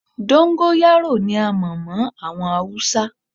Dóńgóyárò ni a mọ̀ mọ́ àwọn Haúsá.